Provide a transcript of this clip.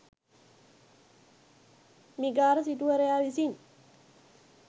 මිගාර සිටුවරයා විසින්